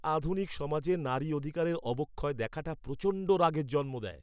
আধুনিক সমাজে নারী অধিকারের অবক্ষয় দেখাটা প্রচণ্ড রাগের জন্ম দেয়।